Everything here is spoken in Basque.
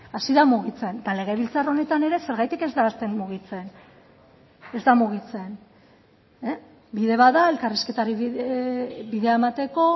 hasi da mugitzen eta legebiltzar honetan ere zergatik ez da hasten mugitzen ez da mugitzen bide bat da elkarrizketari bidea emateko